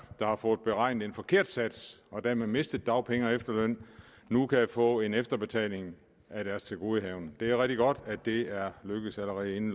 der har fået beregnet en forkert sats og dermed mistet dagpenge og efterløn nu kan få en efterbetaling af deres tilgodehavende det er rigtig godt at det er lykkedes allerede inden